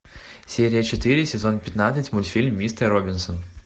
серия четыре сезон пятнадцать мультфильм мистер робинсон